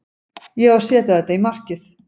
Ég á að setja þetta í markið.